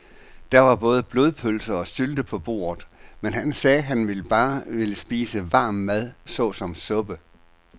Der var både blodpølse og sylte på bordet, men han sagde, at han bare ville spise varm mad såsom suppe.